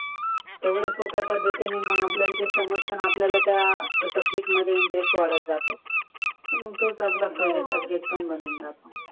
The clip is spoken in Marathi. त्यामुळे सोप्या पद्धतीने मग आपल्याला समजतान मग आपल्याला त्या सब्जेक्ट मध्ये इंटरेस्टवाढत जातो आणि तोच आपला फेवरेट सब्जेक्ट पन बनुन जातो